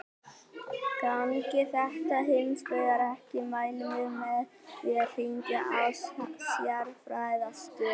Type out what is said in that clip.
Gangi þetta hins vegar ekki mælum við með því að hringja á sérfræðiaðstoð.